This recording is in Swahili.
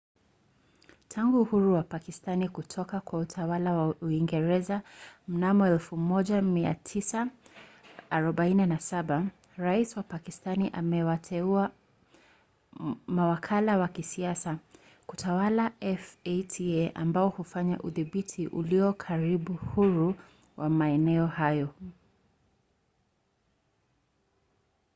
tangu uhuru wa pakistani kutoka kwa utawala wa uingereza mnamo 1947 rais wa pakistani amewateua mawakala wa kisiasa kutawala fata ambao hufanya udhibiti ulio karibu huru wa maeneo hayo